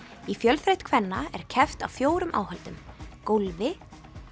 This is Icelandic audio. í fjölþraut kvenna er keppt á fjórum áhöldum gólfi